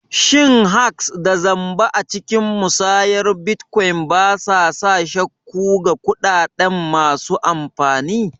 Shin hacks da zamba a cikin musayar bitcoin ba sa sa shakku ga kuɗaɗen masu amfani?